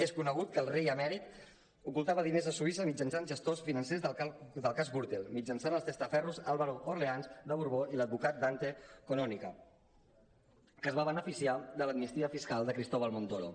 és conegut que el rei emèrit ocultava diners a suïssa mitjançant gestors financers del cas gürtel mitjançant els testaferros álvaro de orleans de borbó i l’advocat dante canonica que es va beneficiar de l’amnistia fiscal de cristóbal montoro